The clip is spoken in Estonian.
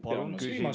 Palun küsimus!